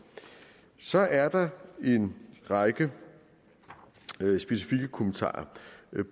så er der en række specifikke kommentarer